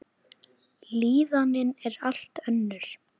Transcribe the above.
Líðanin er allt önnur.